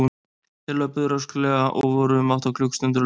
Þeir löbbuðu rösklega og voru um átta klukkustundir á leiðinni.